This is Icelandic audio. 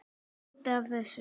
Það er hluti af þessu.